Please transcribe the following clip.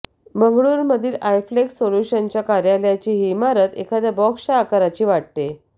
बंगळूरू मधील आयफ्लेक्स सोल्युशनच्या कार्यालयाची ही इमारत एखाद्या बॉक्सच्या आकाराची वाटते